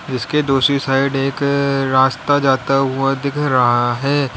जिसके दूसरी साइड एक रास्ता जाता हुआ दिख रहा है।